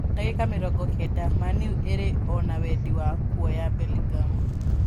) ndagĩka mĩrongo kenda) Man-U ĩrĩ ona wendi wa kuoya Bellingham